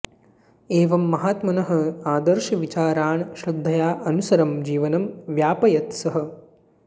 एवं महात्मनः आदर्शविचारान् श्रद्धया अनुसरन् जीवनं व्यापयत् सः